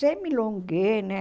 Semilongue, né?